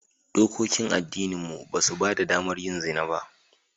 Dokokin addininmu ba su ba da damar yin zina ba